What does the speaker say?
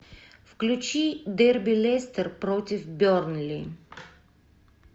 включи дерби лестер против бернли